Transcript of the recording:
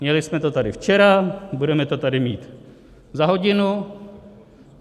Měli jsme to tady včera, budeme to tady mít za hodinu.